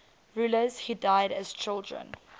rulers who died as children